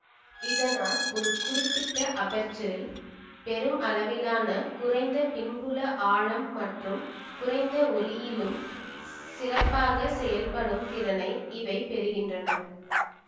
இதனால் ஒரு குறிப்பிட்ட அபெர்ச்சரில் பெரும் அளவிலான குறைந்த பின்புல ஆழம் மற்றும் குறைந்த ஒளியிலும் சிறப்பாக செயல்படும் திறனை இவை பெறுகின்றன